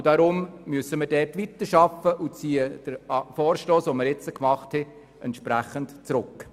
Deshalb müssen wir dort weiterarbeiten und ziehen den Vorstoss entsprechend zurück.